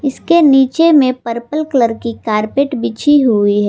इसके नीचे में पर्पल कलर की कारपेट बिछी हुई है।